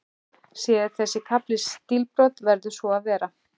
Sé þessi kafli stílbrot, verður svo að vera.